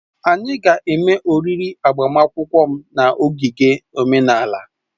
Anyị ga-eme oriri agbamakwụkwọ m na ogige omenala